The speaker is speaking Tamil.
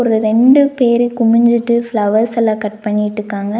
இது ரெண்டு பேரு குமிஞ்சிட்டு ஃபிளவர்ஸ் எல்லா கட் பண்ணிட்டு இருக்காங்க.